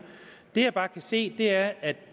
det jeg bare kan se er at